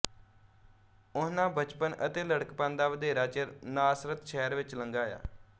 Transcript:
ਓਨਹਾਂ ਬਚਪਣ ਅਤੇ ਲੜਕਪਣ ਦਾ ਵਧੇਰਾ ਚਿਰ ਨਾਸਰਤ ਸ਼ਹਿਰ ਵਿੱਚ ਲੰਘਾਇਆ